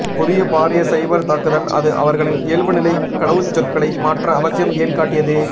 புதிய பாரிய சைபர் தாக்குதல் அது அவர்களின் இயல்புநிலை கடவுச்சொற்களை மாற்ற அவசியம் ஏன் காட்டியது